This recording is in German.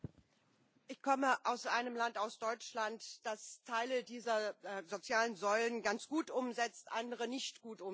Ich komme aus einem Land aus Deutschland das Teile dieser sozialen Säulen ganz gut umsetzt und andere nicht gut umsetzt.